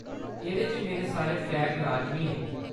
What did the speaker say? एह्‌‌‌दे च मेरे सारे ट्रेक लाजमी हे।